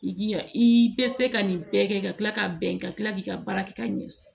I ya i bɛ se ka nin bɛɛ kɛ ka tila ka bɛn ka tila k'i ka baara kɛ ka ɲɛ